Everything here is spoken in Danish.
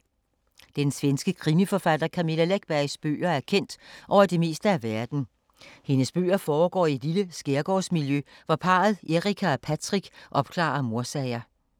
Den svenske krimiforfatter Camilla Läckbergs bøger er kendt over det meste af verden. Hendes bøger foregår i et lille skærgårdsmiljø, hvor parret Erica og Patrick opklarer mordsager.